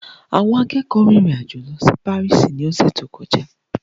Àwọn akẹ́kọ̀ọ́ rìnrìn àjò lọ sí Paris ní ọ̀sẹ̀ tó kọjá.